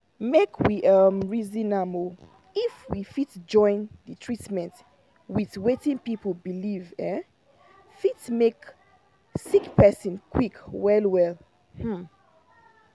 make we um reason am — if we fit join the treatment with wetin people believe um fit make sick person quick well. um